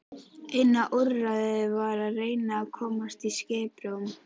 Eina úrræðið var að reyna að komast í skiprúm.